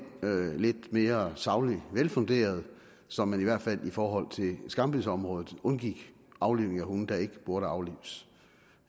lidt mere sagligt velfunderet så man i hvert fald i forhold til skambidsområdet undgik aflivning af hunde der ikke burde aflives